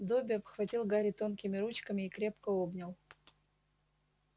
добби обхватил гарри тонкими ручками и крепко обнял